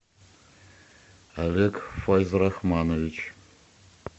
олег файзрахманович